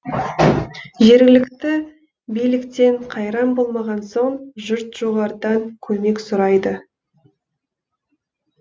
жергілікті биліктен қайран болмаған соң жұрт жоғарыдан көмек сұрайды